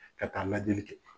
Ka taa lajɛli kɛ.